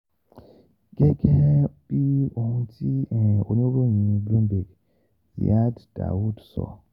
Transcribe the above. Gẹ́gẹ́ bí ohun tí um oníròyìn cs] Bloomberg, Ziad Daoud sọ,